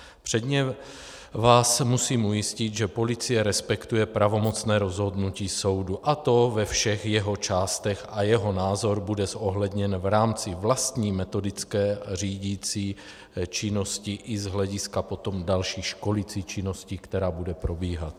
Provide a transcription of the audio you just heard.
Předně vás musím ujistit, že policie respektuje pravomocné rozhodnutí soudu, a to ve všech jeho částech, a jeho názor bude zohledněn v rámci vlastní metodické řídicí činnosti i z hlediska potom další školicí činnosti, která bude probíhat.